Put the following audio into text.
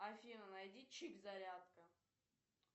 афина найди чик зарядка